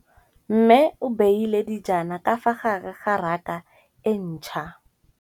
Mmê o beile dijana ka fa gare ga raka e ntšha.